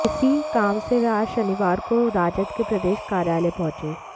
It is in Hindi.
इसी काम से वह आज शनिवार को राजद के प्रदेश कार्यालय पहुंचे